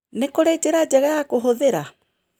Nĩ kũrĩ njĩra njega ya kũhũthĩra?